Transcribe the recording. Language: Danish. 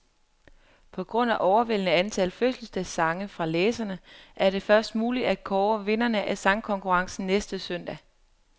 På grund af overvældende antal fødselsdagssange fra læserne, er det først muligt at kåre vinderne af sangkonkurrencen næste søndag.